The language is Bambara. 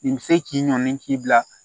Nin bɛ se k'i ɲɔni k'i bila